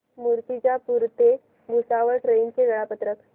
मूर्तिजापूर ते भुसावळ ट्रेन चे वेळापत्रक